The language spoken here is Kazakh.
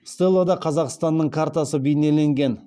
стеллада қазақстанның картасы бейнеленген